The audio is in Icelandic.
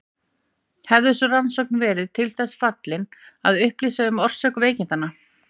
Hefði sú rannsókn verið til þess fallin að upplýsa um orsök veikindanna?